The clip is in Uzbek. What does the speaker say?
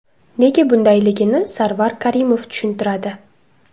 Nega bundayligini Sarvar Karimov tushuntiradi.